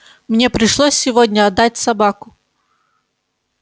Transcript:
мне пришлось сегодня отдать собаку